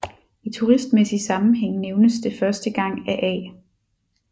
I turistmæssig sammenhæng nævnes det første gang af A